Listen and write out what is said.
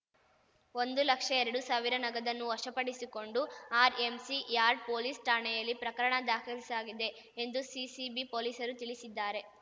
ಒಂದು ಲಕ್ಷ ಎರಡು ಸಾವಿರ ನಗದನ್ನು ವಶಪಡಿಸಿಕೊಂಡು ಆರ್‌ಎಂಸಿ ಯಾರ್ಡ್ ಪೊಲೀಸ್ ಠಾಣೆಯಲ್ಲಿ ಪ್ರಕರಣ ದಾಖಲಿಸಲಾಗಿದೆ ಎಂದು ಸಿಸಿಬಿ ಪೊಲೀಸರು ತಿಳಿಸಿದ್ದಾರೆ